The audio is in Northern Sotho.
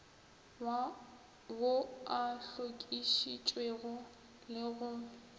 ao a hlokišitšwego le go